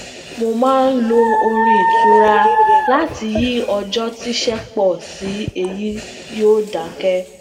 mo máa ń lo orin itura láti yi ọjọ tiṣẹ pọ si eyi yoo dakẹ